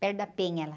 Perto da Penha, lá.